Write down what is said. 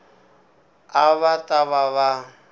a va ta va va